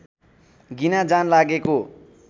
गिना जान लागेको